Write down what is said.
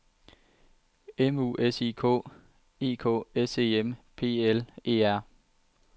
M U S I K E K S E M P L E R